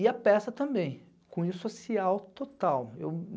E a peça também, cunho social total. Eu